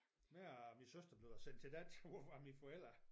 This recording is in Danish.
Mig og min søster blev da sendt til dans ud fra mine forældre